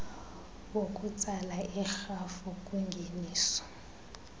wokutsala irhafu kwingeniso